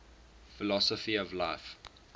philosophy of life